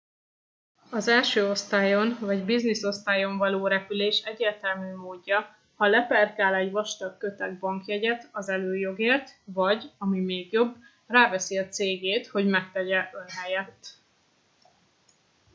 az első osztályon vagy business-osztályon való repülés egyértelmű módja ha leperkál egy vastag köteg bankjegyet az előjogért vagy ami még jobb ráveszi a cégét hogy megtegye ön helyett